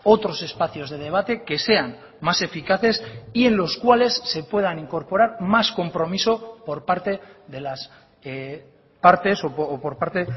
otros espacios de debate que sean más eficaces y en los cuales se puedan incorporar más compromiso por parte de las partes o por parte